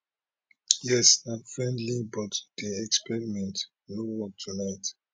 yes na friendly but di experiment no work tonight